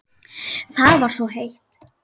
Það var svo heitt.